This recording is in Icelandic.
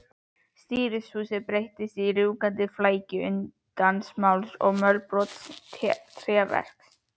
Stýrishúsið breyttist í rjúkandi flækju undins málms og mölbrotins tréverks.